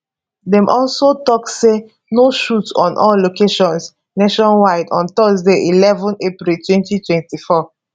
dem also tok say no shoot on all locations nationwide on thursday eleven april 2024